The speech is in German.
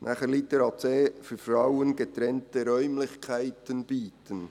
Zu Litera c und «für Frauen getrennte Räumlichkeiten bieten»: